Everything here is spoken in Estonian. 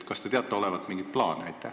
Kas te teate olevat mingeid plaane?